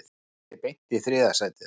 Kýldi sig beint í þriðja sætið